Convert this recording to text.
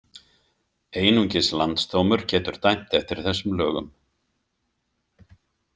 Einungis Landsdómur getur dæmt eftir þessum lögum.